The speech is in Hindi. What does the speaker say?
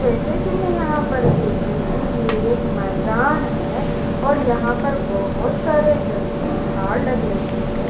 जैसे कि मैं यहाँ पर देख रही हूँ ये एक मैदान है और यहाँ पर बहुत सारे जंगली झाड़ लगे हुए हैं।